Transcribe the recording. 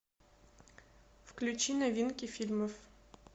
включи новинки фильмов